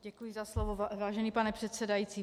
Děkuji za slovo, vážený pane předsedající.